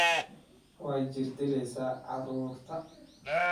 Waxaad jirdilaysaa carruurta